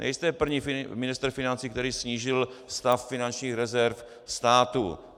Nejste první ministr financí, který snížil stav finančních rezerv státu.